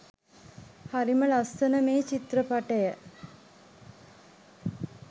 හරිම ලස්සන මේ චිත්‍රපටිය